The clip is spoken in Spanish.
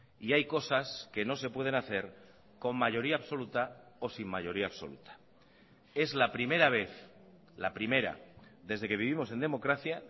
y hay cosas que no se pueden hacer con mayoría absoluta o sin mayoría absoluta es la primera vez la primera desde que vivimos en democracia